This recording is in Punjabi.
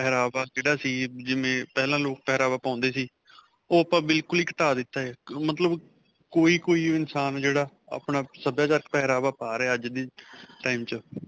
ਪਹਿਰਾਵਾ, ਜਿਹੜਾ ਸੀ ਜਿਵੇਂ ਪਹਿਲਾਂ ਲੋਕ ਪਹਿਰਾਵਾ ਪਾਉਂਦੇ ਸੀ ਓਹ ਆਪਾਂ ਬਿਲਕੁਲ ਹੀ ਘਟਾ ਦਿੱਤਾ ਹੈ, ਮਤਲਬ ਕੋਈ-ਕੋਈ ਇਨਸਾਨ ਜਿਹੜਾ ਆਪਣਾ ਸਭਿਆਚਾਰਕ ਪਹਿਰਾਵਾ ਪਾ ਰਿਹਾ ਅੱਜ ਦੇ time 'ਚ.